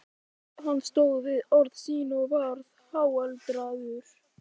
Hann stóð við orð sín og varð háaldraður.